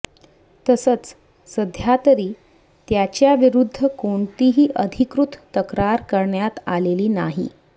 तसंच सध्यातरी त्याच्याविरुद्ध कोणतीही अधिकृत तक्रार करण्यात आलेली नाही